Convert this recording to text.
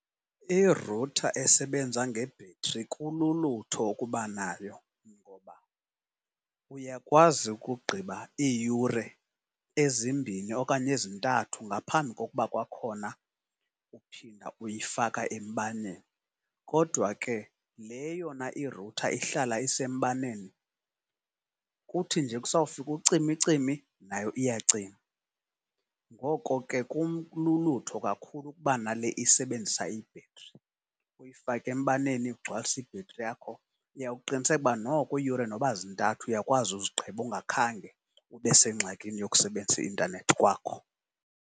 Irutha esebenza ngebhetri kululutho ukuba nayo ngoba uyakwazi ukugqiba iiyure ezimbini okanye ezintathu ngaphambi kokuba kwakhona uphinda uyifaka embaneni. Kodwa ke le yona irutha ihlala isembaneni kuthi nje kusawufika ucimicimi nayo iyacima. Ngoko ke kum lulutho kakhulu ukuba nale isebenzisa ibhetri. Uyifake embaneni igcwalise ibhetri yakho uyawuqiniseka uba noko iiyure noba zintathu uyakwazi uzigqiba ungakhange ube sengxakini yokusebenzisa i-intanethi kwakho.